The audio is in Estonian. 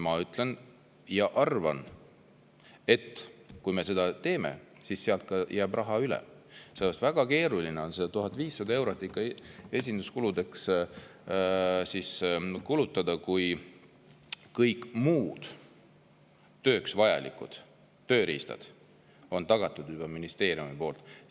Ma arvan, et kui me seda teeme, siis sealt jääb raha üle, sellepärast et väga keeruline on 1500 eurot esinduskuludeks kulutada, kui kõik tööks vajalikud tööriistad on ministeeriumi poolt juba tagatud.